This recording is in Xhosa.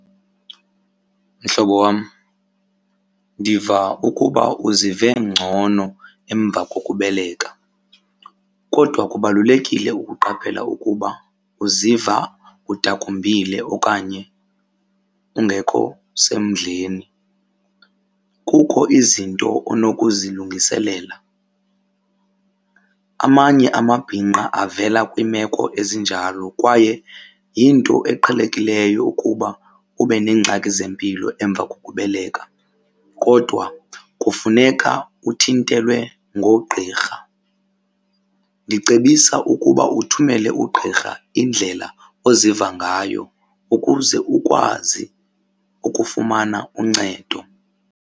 Mhlobo wam, ndiva ukuba uzive ngcono emva kokubeleka kodwa kubalulekile ukuqaphela ukuba uziva udakumbile okanye ungekho semdleni. Kukho izinto onokuzilungiselela. Amanye amabhinqa avela kwiimeko ezinjalo kwaye yinto eqhelekileyo ukuba ube neengxaki zempilo emva kokubeleka kodwa kufuneka uthintelwe ngoogqirha. Ndicebisa ukuba uthumele ugqirha indlela oziva ngayo ukuze ukwazi ukufumana uncedo.